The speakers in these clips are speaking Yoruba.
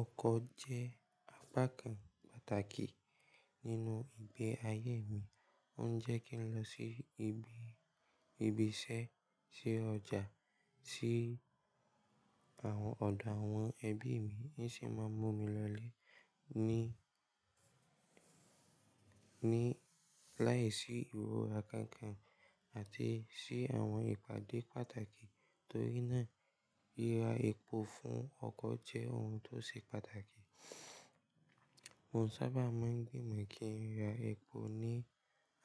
Ọkọ̀ jẹ́ apá kan pàtàkì nínú ìgbé ayé mi. Ó ń jẹ́ kí n lọ sí ibi, ibi iṣẹ́, sí ọjà, sí àwọn ọ̀dọ̀ àwọn ẹbí mi, ó sì máa ń mú mi lọlé ní, ní láìsí ìrọra kankan àti sí àwọn ìpàdé pàtàkì. Torí náà, ríra epo fún ọkọ̀ jẹ́ ohun tó ṣe pàtàkì. Mo sábà máa ń gbìmọ̀ kí n ra epo ní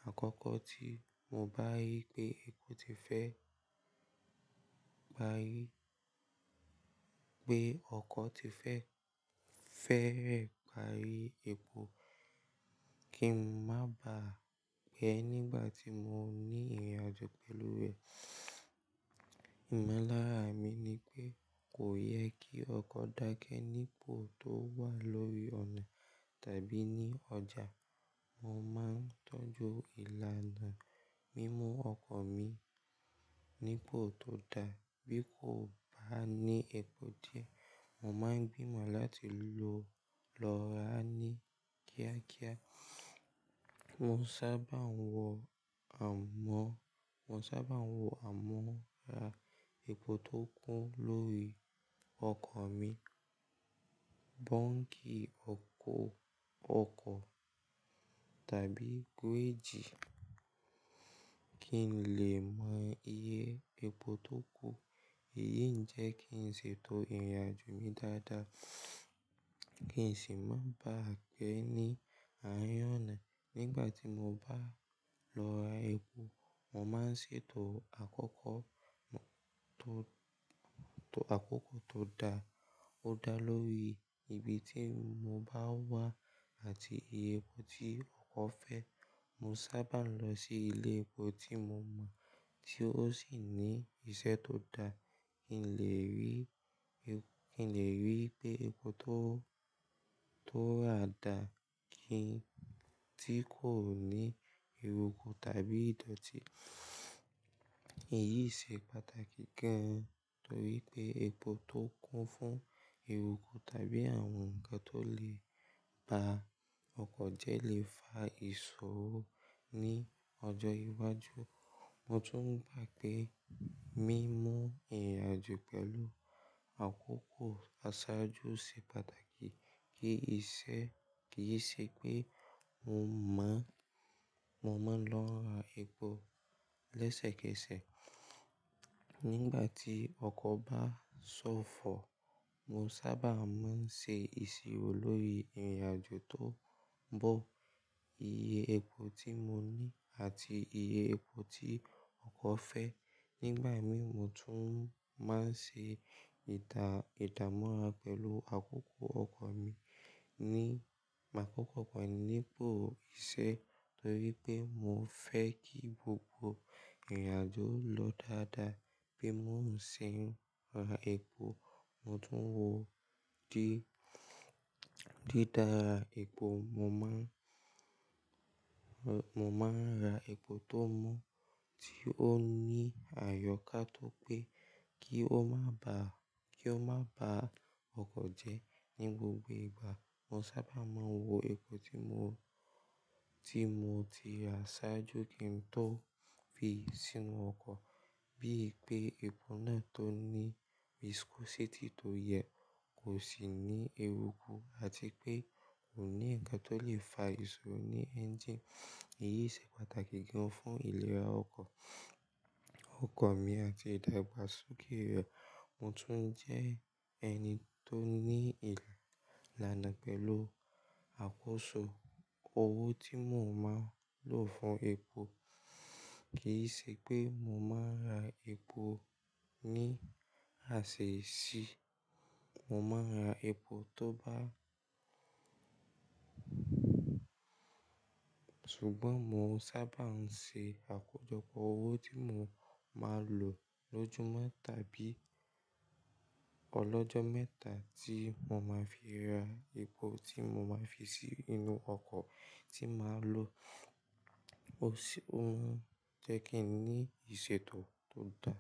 àkókò tí mo bá rí pé epo ti fẹ́, pá rí pé ọkọ̀ ti fẹ́, fẹ́rẹ̀ pá rí epo kí n má bà á pé nígbà tí mo ní ìrìnàjò pẹ̀lú rẹ̀. Ìmọ̀lára mi ni pé kò yẹ kí ọkọ̀ dákẹ́ nípo tó wà lórí ọ̀nà tàbí ní ọjà. Mo máa ń tọ́jú ìlànà mímú ọkọ̀ mi nípo tó da. Bí kò bá ní epo díẹ̀, mo máa ń gbìmọ̀ láti lọ, lọ ra ní kíákíá. Mo sábà ń wọ amọ́, mo sábà ń wọ amọ́ ra epo tó kún lórí ọkọ̀ mi. Bọ́ńkì ọkọ̀, ọkọ̀ tàbí gauge kí n lè mọ iye epo tó kù. Èyí ń jẹ́ kí n ṣètò ìrìnàjò mi dáadáa kí n sì má bà á pé ní àárín ọ̀nà. Nígbà tí mo bá lọ ra epo, mo máa ń ṣètò àkókò tó, tó, àkókò tó da, ó dá lórí ibi tí mo bá wà àti iye epo tí ọkọ̀ fẹ́. Mo sábà ń lọ sí ilé epo tí mo mọ̀ tí ó sì ní iṣẹ́ tó dá. Kì í lè rí epo, kì í lè rí pé epo tó, tó rà dà kí, tí kò ní eruku tàbí ìdọ̀tí. Èyí ṣe pàtàkì gan torí pé epo tó kún fún eruku tàbí àwọn nǹkan tó lè ba ọkọ̀ jẹ́ lè fa ìṣòro ní ọjọ́ iwájú. Mo tún gbà pé mímú ìrìnàjò pẹ̀lú àkókò àsájú ṣe pàtàkì. Kì í ṣe, kì í ṣe pé mo mọ̀, mo máa ń lọ ra epo lẹ́sẹ̀kẹsẹ̀. Nígbà tí ọkọ̀ bá ṣófo, mo sábà máa ń ṣe ìsírò lórí ìrìnàjò tó ń bọ̀, iye epo tí mo ní àti iye epo tí ọkọ̀ fẹ́. Nígbà mí mo tún máa ń ṣe ìtà, ìtàmúra pẹ̀lú àkókò ọkọ̀ mi ní, àkókò ọkọ̀ mi nípo iṣẹ́ torí pé mo fẹ́ kí gbogbo ìrìnàjò lọ dáadáa. Bí mo ṣe ń ra epo, mo tún wọ dídara epo. Mo máa, mo máa ń ra epo tó mọ́ tí ó ní àyọkátọ́ pé kí ó má bà, kí ó má bà ọkọ̀ jẹ́ ní gbogbo ìgbà. Mo sábà máa ń wo epo tí mo, tí mo ti ra ṣáájú kí n tó fi sínú ọkọ̀ bí i pé epo náà tó ní viscosity tó yẹ, kò sì ní eruku àti pé kò ní ǹnkan tó lè fa ìṣòro ní ẹ́ńjíìnì. Èyí ṣe pàtàkì gan fún ìlera ọkọ̀, ọkọ̀ mi àti ìdàgbàsókè rẹ̀. Mo tún jẹ́ ẹni tó ní ìlànà pẹ̀lú àkóso owó tí mo máa ń lò fún epo. Kì í ṣe pé mo máa ń ra epo ní àsè sí. Mo máa ń ra epo tó bá ṣùgbọ́n mo n sábà ń ṣe àkójọpọ̀ owó tí mo máa lò lójúmọ́ tàbí ọlọ́jọ́ mẹ́ta tí mo máa fi ra epo tí mo máa fi sí inú ọkọ̀ tí màá lò. Ó ó ń jẹ́ kí n ní ìṣètò tó dáa.